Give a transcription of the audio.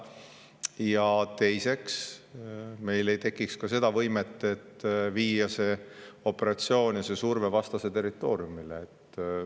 Ja teiseks, meil ei tekiks ka seda võimet, et viia see operatsioon ja surve vastase territooriumile.